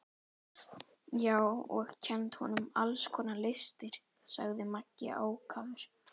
Já, og kennt honum alls konar listir, sagði Maggi ákafur.